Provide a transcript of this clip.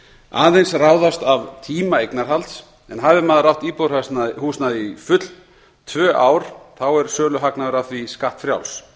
aðeins ráðast af tíma eignarhalds en hafi maður átt íbúðarhúsnæði í full tvö ár er söluhagnaður af því skattfrjáls